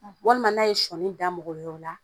walima n'a ye sɔɔni da mɔgɔ yɔrɔ la